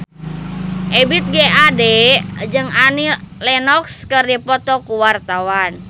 Ebith G. Ade jeung Annie Lenox keur dipoto ku wartawan